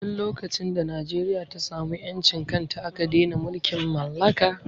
Tin lokacin da Najeriya ta samu ƴancin kanta aka dene mulkin mallaka